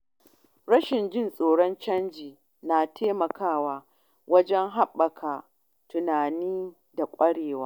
Rashin jin tsoron canji na taimakawa wajen haɓaka tunani da kwarewa.